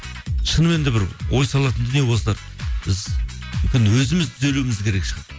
шынымен де бір ой салатын дүние осылар біз мүмкін өзіміз түзелуіміз керек шығар